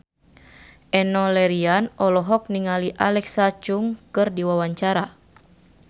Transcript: Enno Lerian olohok ningali Alexa Chung keur diwawancara